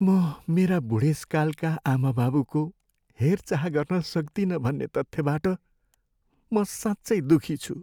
म मेरा बुढेसकालका आमाबाबुको हेरचाह गर्न सक्दिनँ भन्ने तथ्यबाट म साँच्चै दुःखी छु।